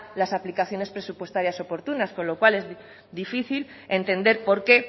las aplicaciones presupuestarias oportunas con lo cual es difícil entender por qué